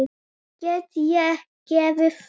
Get ég gefið það?